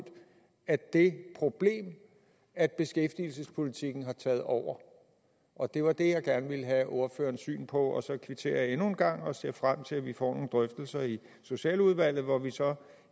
af det problem at beskæftigelsespolitikken har taget over det var det jeg gerne ville have ordførerens syn på så kvitterer jeg endnu en gang og ser frem til at vi får nogle drøftelser i socialudvalget hvor vi så